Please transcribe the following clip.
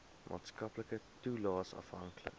maatskaplike toelaes afhanklik